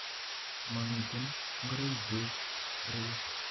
Momitin ngoroi'kyuk ireyu